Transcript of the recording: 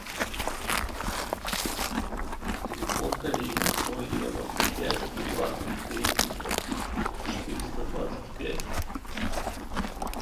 телефон коллеги ноль девяносто пять двадцать тридцать четыреста двадцать пять